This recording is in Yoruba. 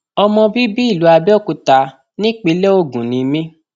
ọmọ bíbí ìlú abẹòkúta nípínlẹ ogun ni mí